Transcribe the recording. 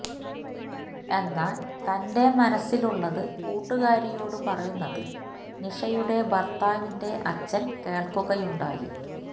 എന്നാല് തന്റെ മനസ്സിലുള്ളത് കൂട്ടുകാരിയോട് പറയുന്നത് നിഷയുടെ ഭര്ത്താവിന്റെ അച്ഛന് കേള്ക്കുകയുണ്ടായി